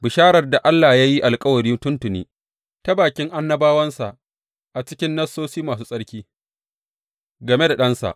Bisharar da Allah ya yi alkawari tuntuni ta bakin annabawansa a cikin Nassosi Masu Tsarki game da Ɗansa.